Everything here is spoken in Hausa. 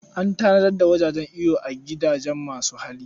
An tanadar da wajen iyo a gidajen masu hali.